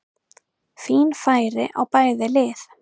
Fín færi á bæði lið!